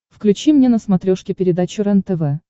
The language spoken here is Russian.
включи мне на смотрешке передачу рентв